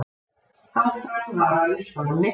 Áfram varað við stormi